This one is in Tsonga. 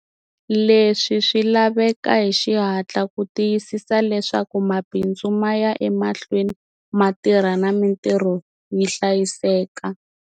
Leswi swi laveka hi xihatla ku tiyisisa leswaku mabindzu ma ya emahlweni ma tirha na mitirho yi hlayiseka.